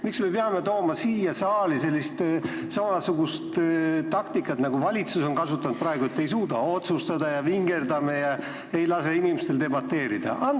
Miks me peame tooma siia saali samasugust taktikat, nagu valitsus on praegu kasutanud, et ei suuda otsustada ja vingerdame ega lase inimestel debateerida?